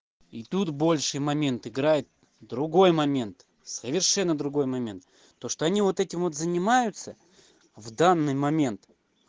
и тут большей момент играет другой момент совершенно другой момент то что они вот этим вот занимаются в данный момент